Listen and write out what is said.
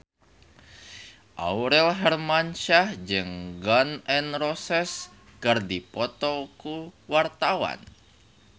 Aurel Hermansyah jeung Gun N Roses keur dipoto ku wartawan